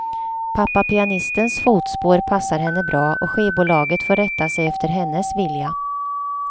Pappa pianistens fotspår passar henne bra och skivbolaget får rätta sig efter hennes vilja.